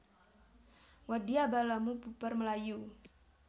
Wadya balamu bubar mlayu